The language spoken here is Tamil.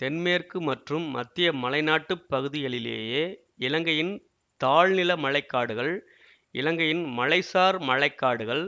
தென்மேற்கு மற்றும் மத்திய மலைநாட்டுப் பகுதிகளிலேயே இலங்கையின் தாழ்நில மழை காடுகள் இலங்கையின் மலைசார் மழை காடுகள்